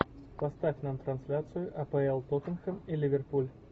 поставь нам трансляцию апл тоттенхэм и ливерпуль